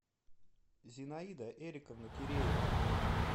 зинаида эриковна киреева